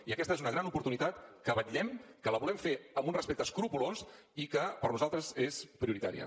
i aquesta és una gran oportunitat per la qual vetllem que la volem fer amb un respecte escrupolós i que per nosaltres és prioritària